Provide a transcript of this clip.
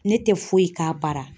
Ne tɛ foyi k'a bara